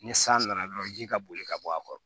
Ni san nana dɔrɔn ji ka boli ka bɔ a kɔrɔ